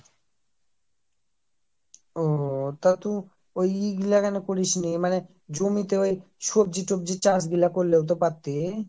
ওওও তা তুই ওই এগুলা কেনো করিস নি মানে জমিতে সবজি টোবাজি চাষ গুলো করলে তো পারতি